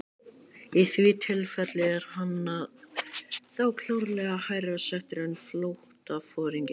Í því tilfelli er hann þá klárlega hærra settur en flotaforingi.